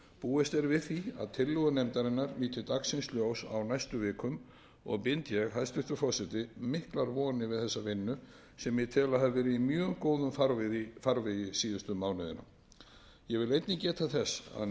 búist er við því að tillögur nefndarinnar líti dagsins ljós á næstu vikum og bind ég hæstvirtur forseti miklar vonir við þessa vinnu sem ég tel að hafi verið í mjög góðum farvegi síðustu mánuðina ég vil einnig geta þess að nefndin